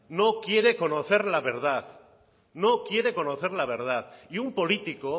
no quiere conocer la verdad y un político